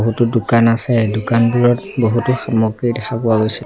বহুতো দোকান আছে দোকানবোৰত বহুতো সামগ্ৰী দেখা পোৱা গৈছে।